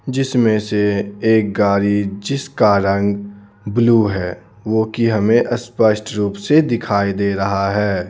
जिसमें से एक गाड़ी जिसका रंग ब्लू है वो कि हमें स्पष्ट रूप से दिखाई दे रहा है.